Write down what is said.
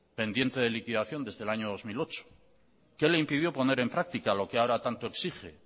pendiente de liquidación desde el año dos mil ocho qué le impidió poner en práctica lo que ahora tanto exige